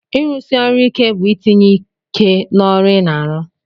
Irusi ọrụ ike bu itinye ike n'ọrụ ina arụ